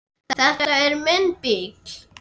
Þetta er minn bíll.